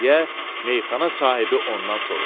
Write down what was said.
deyə meyaxana sahibi ondan soruşdu.